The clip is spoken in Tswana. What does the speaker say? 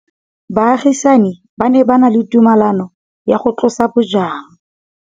Baagisani ba ne ba na le tumalanô ya go tlosa bojang.